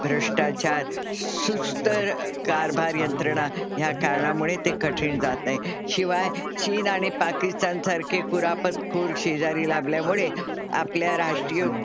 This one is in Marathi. भ्रष्टाचार, सुस्त कारभार यंत्रणा या कारणामुळे ते कठीण जात आहे. शिवाय चीन आणि पाकिस्तान सारखे कुरापत खोर शेजारी लाभल्यामुळे आपल्या राष्ट्रीय,